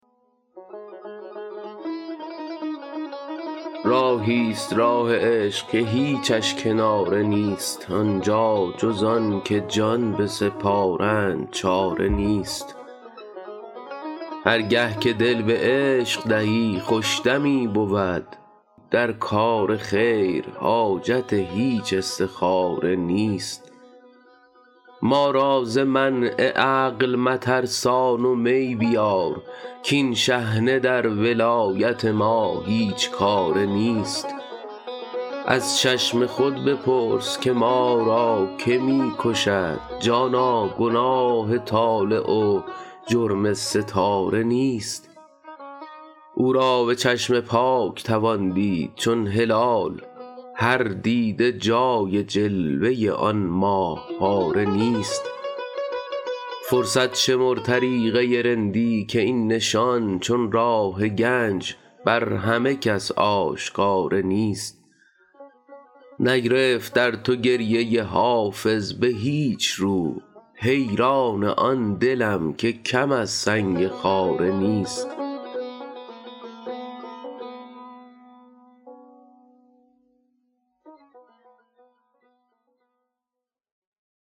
راهی ست راه عشق که هیچش کناره نیست آن جا جز آن که جان بسپارند چاره نیست هر گه که دل به عشق دهی خوش دمی بود در کار خیر حاجت هیچ استخاره نیست ما را ز منع عقل مترسان و می بیار کآن شحنه در ولایت ما هیچ کاره نیست از چشم خود بپرس که ما را که می کشد جانا گناه طالع و جرم ستاره نیست او را به چشم پاک توان دید چون هلال هر دیده جای جلوه آن ماه پاره نیست فرصت شمر طریقه رندی که این نشان چون راه گنج بر همه کس آشکاره نیست نگرفت در تو گریه حافظ به هیچ رو حیران آن دلم که کم از سنگ خاره نیست